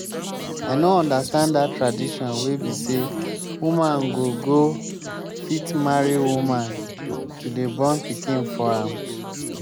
i no understand dat tradition wey be say woman go go fit marry woman to dey born pikin for am